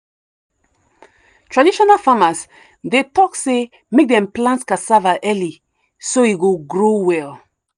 traditional farmers dey talk say make dem plant cassava early so e go grow well.